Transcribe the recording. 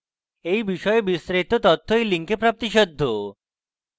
এই বিষয়ে বিস্তারিত তথ্য এই link প্রাপ্তিসাধ্য